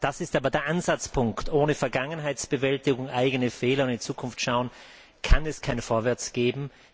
Das ist aber der Ansatzpunkt ohne Vergangenheitsbewältigung, Einsehen der eigenen Fehler und in die Zukunft schauen, kann es kein Vorwärts geben.